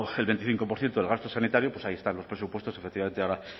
el veinticinco por ciento del gasto sanitario pues ahí están los presupuestos efectivamente ahora